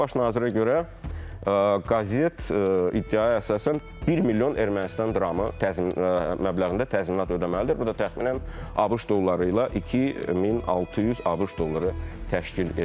Baş nazirə görə qəzet iddiaya əsasən 1 milyon Ermənistan dramı məbləğində təzminat ödəməlidir, bu da təxminən ABŞ dolları ilə 2600 ABŞ dolları təşkil edir.